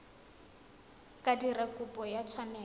ka dira kopo ya tshwanelo